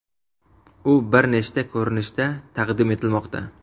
U bir nechta ko‘rinishda taqdim etilmoqda.